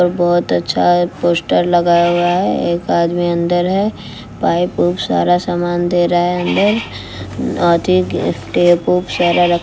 र बहोत अच्छा पोस्टर लगा हुआ है एक आदमी अंदर है पाइप ओइप सारा समान दे रहा है अंदर अथीक टेप ओप सारा रख--